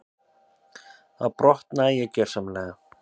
Þá brotnaði ég gjörsamlega.